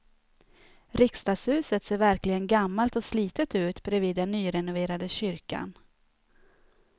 Riksdagshuset ser verkligen gammalt och slitet ut bredvid den nyrenoverade kyrkan.